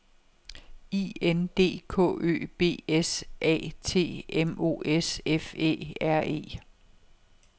I N D K Ø B S A T M O S F Æ R E